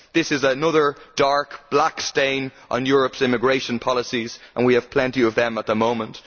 This is another dark stain on Europe's immigration policies, and we have plenty of them at the moment.